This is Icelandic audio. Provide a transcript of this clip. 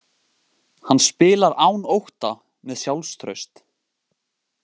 Hann spilar án ótta, með sjálfstraust.